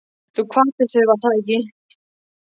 Þú kvaddir þau, var það ekki?